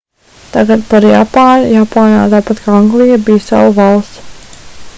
tagad par japānu japāna tāpat kā anglija bija salu valsts